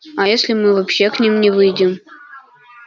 а если мы вообще к ним не выйдем